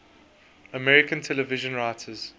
american television writers